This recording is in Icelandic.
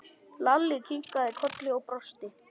Lalli kinkaði kolli og brosti.